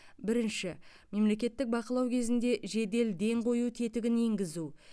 бірінші мемлекеттік бақылау кезінде жедел ден қою тетігін енгізу